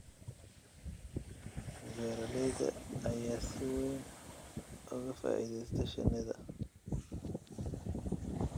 Beeralayda ayaa si weyn uga faa'iidaysta shinida.